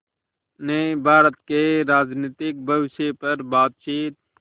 ने भारत के राजनीतिक भविष्य पर बातचीत